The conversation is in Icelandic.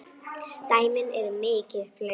Dæmin eru mikið fleiri.